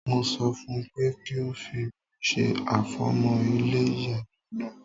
Mo sọ fún pé kí o fi òmi se àfọ̀mọ́ ilé ìyàgbẹ́ náà.